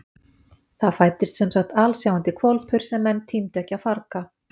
Það fæddist semsagt alsjáandi hvolpur sem menn tímdu ekki að farga.